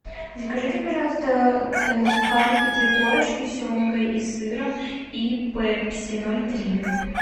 закажите пожалуйста сухарики три корочки с семгой и сыром и пепси ноль три